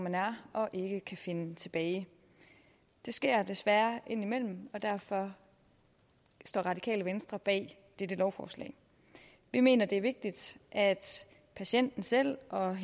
man er og ikke kan finde tilbage det sker desværre indimellem og derfor står radikale venstre bag dette lovforslag vi mener det er vigtigt at patienten selv og